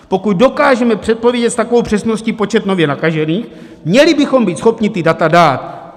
Pokud dokážeme předpovědět s takovou přesností počet nově nakažených, měli bychom být schopni ta data dát.